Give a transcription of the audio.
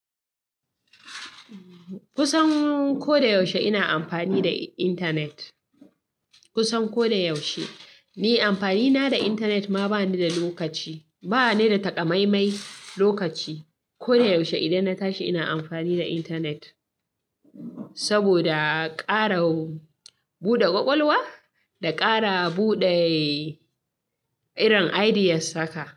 Kusan ko da yaushe ina amfani da intanet. Kusan ko da yaushe. Ni amfani na da intanet ma ba ni da lokaci. Ba ni da takamaimai lokaci. Ko da yaushe idan na tashi ina amfani da intanet. Saboda ƙara buɗe ƙwaƙwalwa da ƙara buɗe irin ideas haka.